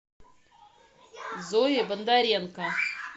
зое бондаренко